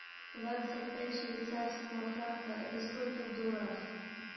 двадцать пять швейцарского франка это сколько в долларах